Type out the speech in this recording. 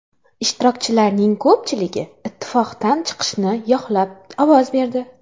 Ishtirokchilarning ko‘pchiligi ittifoqdan chiqishni yoqlab ovoz berdi.